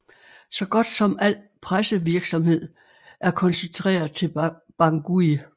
Så godt som al pressevirksamhed er koncentreret til Bangui